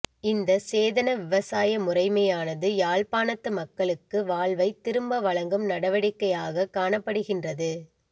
இந்த சேதன விவசாய முறைமையானது யாழ்ப்பாணத்து மக்களுக்கு வாழ்வை திரும்ப வழங்கும் நடவடிக்கையாக காணப்படுகின்றது